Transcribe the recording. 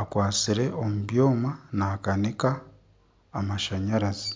akwatsire omu byoma nakanika amashanyarazi.